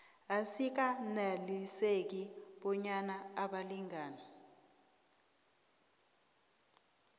asikaneliseki bonyana abalingani